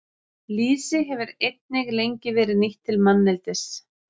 Lýsi hefur einnig lengi verið nýtt til manneldis.